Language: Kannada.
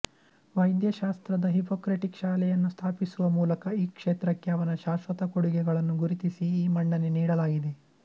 ವೈದ್ಯಶಾಸ್ತ್ರದ ಹಿಪೊಕ್ರೆಟಿಕ್ ಶಾಲೆಯನ್ನು ಸ್ಥಾಪಿಸುವ ಮೂಲಕ ಈ ಕ್ಷೇತ್ರಕ್ಕೆ ಅವನ ಶಾಶ್ವತ ಕೊಡುಗೆಗಳನ್ನು ಗುರುತಿಸಿ ಈ ಮನ್ನಣೆ ನೀಡಲಾಗಿದೆ